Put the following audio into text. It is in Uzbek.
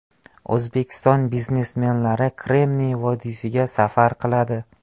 O‘zbekiston biznesmenlari Kremniy vodiysiga safar qiladi.